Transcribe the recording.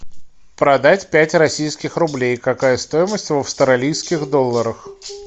продать пять российских рублей какая стоимость в австралийских долларах